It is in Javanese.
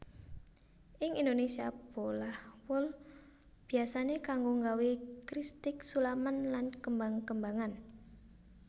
Ing Indonésia bolah wol biyasané kanggo nggawé kristik sulaman lan kembang kembangan